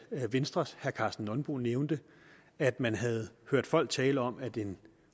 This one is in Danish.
venstres herre karsten nonbo nævnte at man havde hørt folk tale om at en